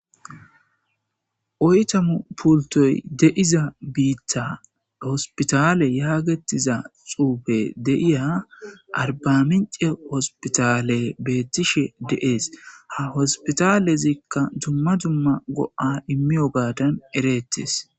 Oytamu pultoy deiza biittha hospitale yaagetiza xuufe deiya arbamince hospitale beettishe de7ees ha hospitalezikka dumma jumma go7a immiyo gaadan ereettes